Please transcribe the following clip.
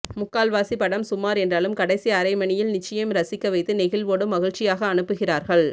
முக்கால் வாசி படம் சுமார் என்றாலும் கடைசி அரை மணியில் நிச்சயம் ரசிக்க வைத்து நெகிழ்வோடு மகிழ்ச்சியாக அனுப்புகிறார்கள்